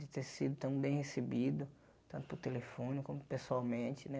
De ter sido tão bem recebido, tanto pelo telefone, como pessoalmente, né?